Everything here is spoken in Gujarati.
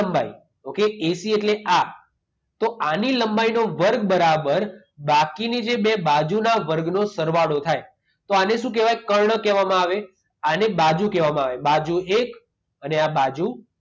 ઓકે એસી એટલે આ. તો આની લંબાઈનો વર્ગ બરાબર બાકીની જે બે બાજુના વર્ગનો સરવાળો થાય. તો આને શું કહેવાય? કર્ણ કહેવામાં આવે, આને બાજુ કહેવામાં આવે. બાજુ એક અને આ બાજુ